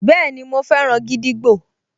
Bẹ́ẹ̀ni, mo fẹ́ràn gídígbò